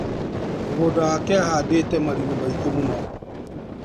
Mũgũnda wake ahandĩte marigũ maingĩ mũno.